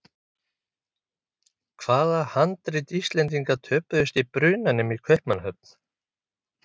Hvaða handrit Íslendinga töpuðust í brunanum í Kaupmannahöfn?